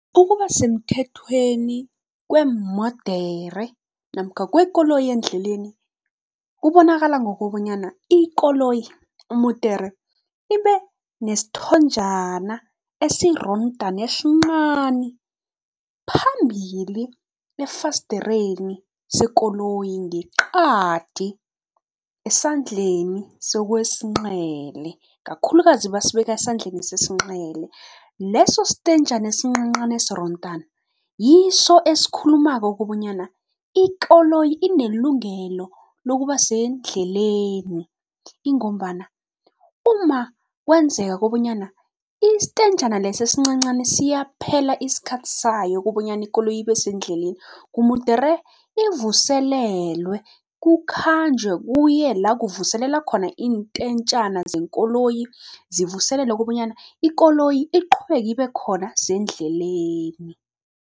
Ukuba semthethweni kweemodere namkha kwekoloyi endleleni kubonakala ngokobonyana, ikoloyi mudere ibe nesithonjana esirondana esinqani phambili efasdereni sekoloyi ngeqadi esandleni sokwesinqele, kakhulukazi basibeka esandleni sesinqele. Leso stenjana esinqanqani esirondana yiso esikhulumako kobonyana ikoloyi inelungelo lokuba sendleleni, ingombana uma kwenzeka kobonyana istenjana leso esincancani siyaphela isikhathi sayo kobonyana ikoloyi ibe sendleleni kumudere ivuselelwe, kukhanjwe kuye la kuvuselela khona iintentjana zeenkoloyi zivuselele kobonyana ikoloyi iqhubeke ibe khona sendleleni.